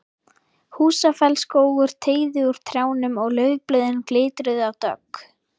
Húsafellsskógur teygði úr trjánum og laufblöðin glitruðu af dögg.